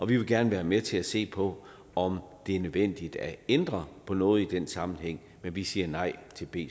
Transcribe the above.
vi vil gerne være med til at se på om det er nødvendigt at ændre på noget i den sammenhæng men vi siger nej til b